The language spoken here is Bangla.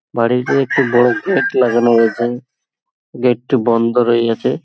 বাড়িতে একটি বড় গেট লাগানো রয়েছে। গেট টি বন্ধ রয়েছে।